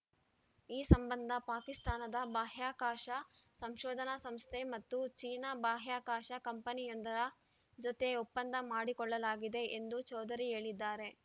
ಈ ಸಂಬಂಧ ಪಾಕಿಸ್ತಾನದ ಬಾಹ್ಯಾಕಾಶ ಸಂಶೋಧನಾ ಸಂಸ್ಥೆ ಮತ್ತು ಚೀನಾ ಬಾಹ್ಯಾಕಾಶ ಕಂಪನಿಯೊಂದರ ಜೊತೆ ಒಪ್ಪಂದ ಮಾಡಿಕೊಳ್ಳಲಾಗಿದೆ ಎಂದು ಚೌಧರಿ ಹೇಳಿದ್ದಾರೆ